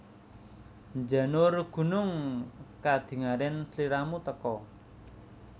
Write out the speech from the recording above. Njanur gunung kadingaren sliramu teka